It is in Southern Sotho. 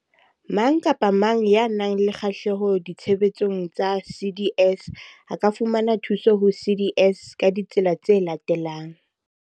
Mang kapa mang ya nang le kgahleho ditshebeletsong tsa CDS a ka fumana thuso ho CDS ka ditsela tse latelang.